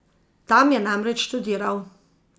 Tam je namreč študiral.